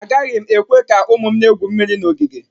Agaghị m ekwe ka ụmụ m na-egwu mmiri na ogige